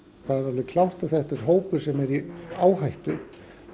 það er alveg klárt að þetta er hópur sem er í áhættu